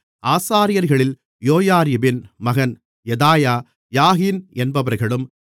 ஆசாரியர்களில் யோயாரிபின் மகன் Jedaiah Jachin என்பவர்களும்